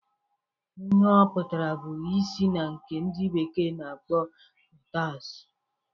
Ihe ọ pụtara bu isii na nke ndị bekee na-akpọ mitas